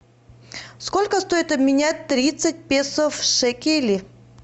сколько стоит обменять тридцать песо в шекели